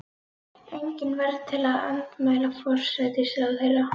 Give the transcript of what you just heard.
Engin varð til að andmæla forsætisráðherra.